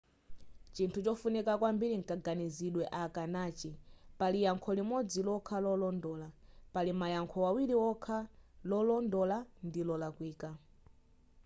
chinthu chofunika kwambiri nkaganizidwe aka nachi pali yankho limodzi lokha lolondola pali mayankho awiri okha lolondola ndi lolakwika